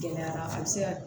Gɛlɛyara a bi se ka